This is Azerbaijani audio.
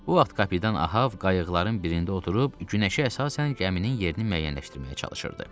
Bu vaxt kapitan Ahav qayıqların birində oturub günəşə əsasən gəminin yerini müəyyənləşdirməyə çalışırdı.